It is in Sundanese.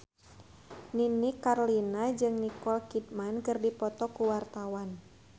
Nini Carlina jeung Nicole Kidman keur dipoto ku wartawan